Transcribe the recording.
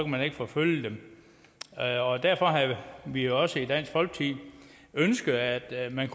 man ikke forfølge dem derfor har vi jo også i dansk folkeparti ønsket at at man